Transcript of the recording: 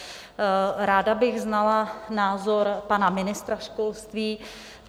Ráda bych znala názor pana ministra školství.